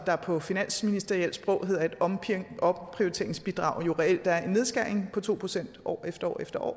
der på finansministerielt sprog hedder et omprioriteringsbidrag jo reelt er en nedskæring på to procent år efter år efter år og